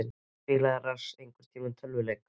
Spilaði Lars einhverntímann tölvuleiki?